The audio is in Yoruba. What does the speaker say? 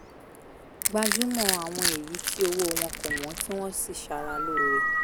gbájúmọ́ àwọn èyí tí owó wọn kò wọ́n tí wọ́n sì ṣàrà lóore